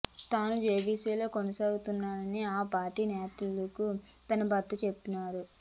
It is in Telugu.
తాను బీజేపీలోనే కొనసాగుతానని ఆ పార్టీ నేతలకు తన భర్త చెప్పారన్నారు